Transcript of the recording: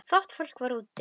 Fátt fólk var úti við.